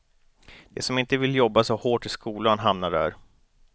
De som inte vill jobba så hårt i skolan, hamnar där.